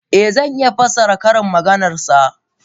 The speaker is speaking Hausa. Eh, zan iya fassara ƙarin maganar sa.